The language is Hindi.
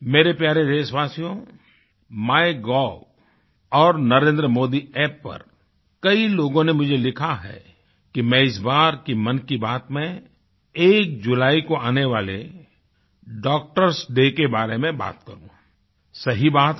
मेरे प्यारे देशवासियोMyGov और NarendraModiApp पर कई लोगों ने मुझे लिखा है कि मैं इस बार की मन की बात में 1 जुलाई को आने वाले doctorएस डे के बारे में बात करूँ सही बात है